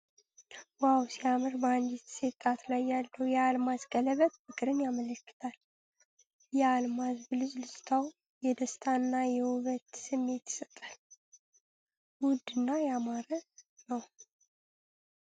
ዋው ሲያምር ! በአንዲት ሴት ጣት ላይ ያለው የአልማዝ ቀለበት ፍቅርን ያመለክታል። የአልማዝ ብልጭታው የደስታ እና የውበት ስሜት ይሰጣል ። ውድ እና ያማረ ነው !